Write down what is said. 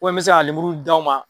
n bɛ se ka na lemuru d'aw ma.